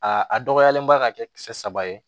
Aa a dɔgɔyalen ba ka kɛ kisɛ saba ye